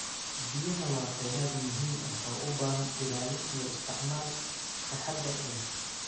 Biyaha waa kheyraad muhiim ah oo u baahan ilaalin iyo isticmaal taxaddar leh.